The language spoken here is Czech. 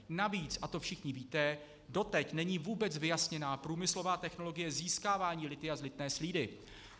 Navíc, a to všichni víte, doteď není vůbec vyjasněna průmyslová technologie získávání lithia z lithné slídy.